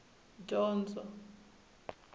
dyondzo